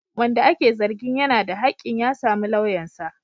Wanda ake zargin yana da hakkin ya samu lauyansa.